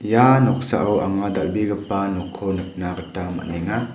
ia noksao anga dal·begipa nokko nikna gita man·enga.